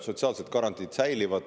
Sotsiaalsed garantiid säilivad.